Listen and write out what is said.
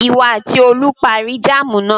Ìwọ àti Olú parí jáámù náà.